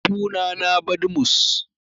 Suna na Badmus